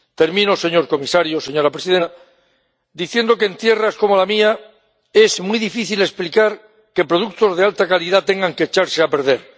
Termino, señor comisario, señora presidenta, diciendo que en tierras como la mía es muy difícil explicar que productos de alta calidad tengan que echarse a perder.